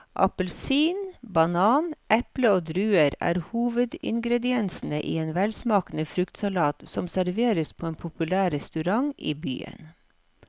Appelsin, banan, eple og druer er hovedingredienser i en velsmakende fruktsalat som serveres på en populær restaurant i byen.